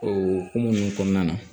O hokumu kɔnɔna na